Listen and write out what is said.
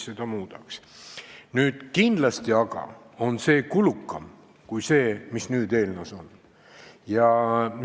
See on aga kindlasti kulukam kui lahendus, mis eelnõus on pakutud.